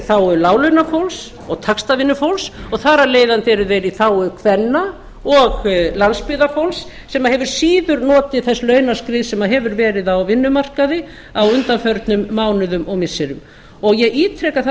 þágu láglaunafólks og taxtavinnufólks og þar af leiðandi eru þeir í þágu kvenna og landsbyggðarfólks sem hefur síður notið þess launaskriðs sem hefur verið á vinnumarkaði á undanförnum mánuðum og missirum og ég ítreka það sem